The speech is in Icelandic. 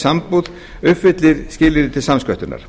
sambúð uppfylli skilyrði til samsköttunar